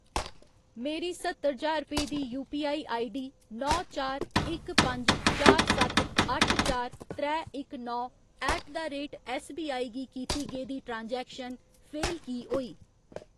मेरी सत्तर ज्हार रपेऽ दी यूपीआई आईडी नौ चार इक पंज चार सत्त अट्ठ चार त्रै इक नौ ऐट द रेट ऐस्सबीआई गी कीती गेदी ट्रांजैक्शन फेल की होई?